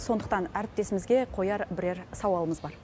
сондықтан әріптесімізге қояр бірер сауалымыз бар